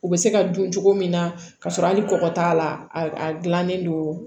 U bɛ se ka dun cogo min na k'a sɔrɔ hali kɔkɔ t'a la a dilannen don